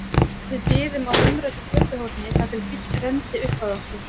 Við biðum á umræddu götuhorni þar til bíll renndi upp að okkur.